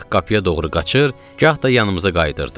Gah qapıya doğru qaçır, gah da yanımıza qayıdırdı.